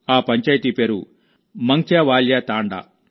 ఆ పంచాయతీ పేరు మంగ్త్యావాల్యా తాండా